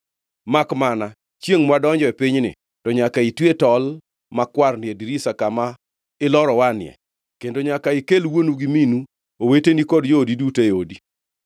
makmana, chiengʼ mwadonjo e pinyni, to nyaka itwe tol makwarni e dirisa kama ilorowanie, kendo nyaka ikel wuonu gi minu, oweteni gi joodi duto ei odi.